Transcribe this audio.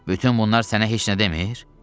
Bütün bunlar sənə heç nə demir?